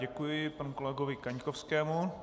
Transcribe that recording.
Děkuji panu kolegovi Kaňkovskému.